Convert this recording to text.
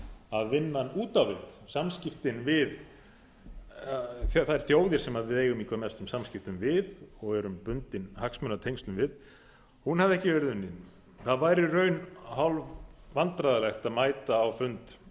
að vinnan út á við samskiptin við þær þjóðir sem við eigum í hvað mestum samskiptum við og erum bundin hagsmunatengslum við hafði ekki verið unnin það var í raun hálfvandræðalegt að mæta á fund